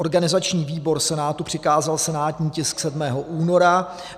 Organizační výbor Senátu přikázal senátní tisk 7. února.